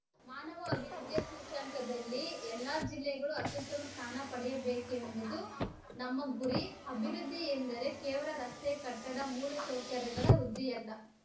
ಮಾನವ ಅಭಿವೃದ್ಧಿಯ ಸೂಚ್ಯಂಕದಲ್ಲಿ ಎಲ್ಲ ಜಿಲ್ಲೆಗಳು ಅತ್ಯುತ್ತಮ ಸ್ಥಾನ ಪಡೆಯಬೇಕೆಂಬುದು ನಮ್ಮ ಗುರಿ ಅಭಿವೃದ್ಧಿ ಎಂದರೆ ಕೇವಲ ರಸ್ತೆ ಕಟ್ಟಡ ಮೂಲಸೌಕರ್ಯಗಳ ವೃದ್ಧಿಯಲ್ಲ